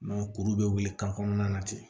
kuru bɛ wuli kan kɔnɔna na ten